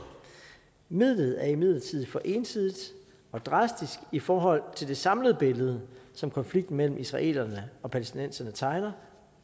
midlet er imidlertid for ensidigt og drastisk i forhold til det samlede billede som konflikten mellem israelerne og palæstinenserne tegner